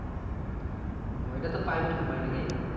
তো এইটাতো private company নাকি?